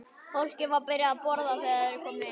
Fólkið var byrjað að borða þegar þeir komu inn.